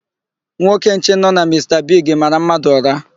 Nwoke nche nọ na Mista Bigi mara mmadụ ụra.